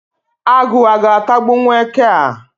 Agụ ọ ga-atagbụwu eke a?.